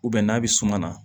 n'a bɛ suma na